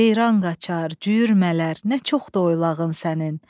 Ceyran qaçar, cüyür mələr, nə çoxdur oybağın sənin.